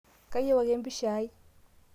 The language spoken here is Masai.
kayieu ake empisha ai